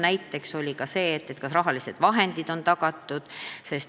Näiteks, kas rahalised vahendid on tagatud.